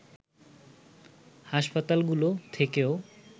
হাসপাতালগুলো থেকেও